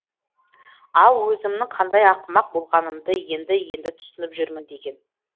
ал өзімнің қандай ақымақ болғанымды енді енді түсініп жүрмін деген